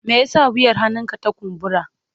Me yasa wuyar hannunka ta kumbura?